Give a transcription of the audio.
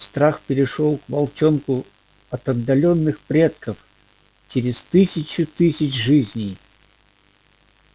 страх перешёл к волчонку от отдалённых предков через тысячу тысяч жизней